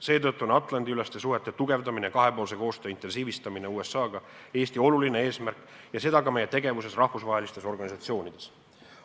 Seetõttu on Atlandi-üleste suhete tugevdamine ja intensiivsem kahepoolne koostöö USA-ga Eesti oluline eesmärk, ja seda ka meie tegevuses rahvusvahelistes organisatsioonides.